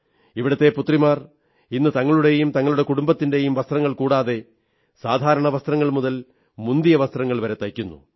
ഇവിടത്തെ പുത്രിമാർ ഇന്ന് തങ്ങളുടെയും തങ്ങളുടെ കുടുംബത്തിന്റെയും വസ്ത്രങ്ങൾ കൂടാതെ സാധാരണ വസ്ത്രങ്ങൾ മുതൽ മുന്തിയ വസ്ത്രങ്ങൾ വരെ തയ്ക്കുന്നു